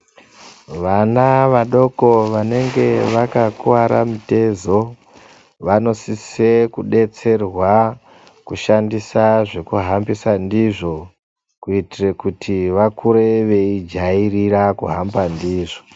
Vana vadoko vanenge vaka kuvara mitezo vano sise ku detserwa ku shandisa zveku hambisa ndizvo kuitire kuti vakure vei jairira ku hamba ndizvo.